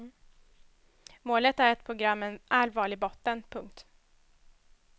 Målet är ett program med en allvarlig botten. punkt